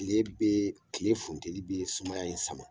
Tile bɛ tile funteni bɛ sumaya in sama